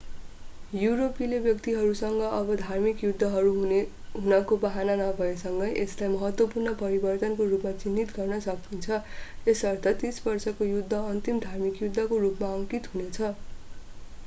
युरोपेली शक्तिहरूसँग अब धार्मिक युद्धहरू हुनुको बहाना नभए सँगै यसलाई महत्त्वपूर्ण परिवर्तनको रूपमा चिन्हित गर्न सकिन्छ यसर्थ तीस वर्षको युद्ध अन्तिम धार्मिक युद्धको रूपमा अङ्कित हुनेछ